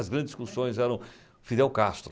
As grandes discussões eram Fidel Castro.